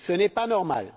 Ce n'est pas normal!